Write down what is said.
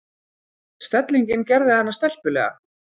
Stellingin gerði hana stelpulega.